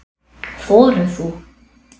Þorir þú?